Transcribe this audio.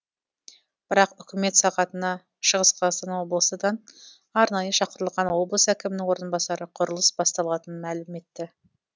бірақ үкімет сағатына шығыс қазақстан облысыдан арнайы шақырылған облыс әкімінің орынбасары құрылыс басталатынын мәлім етті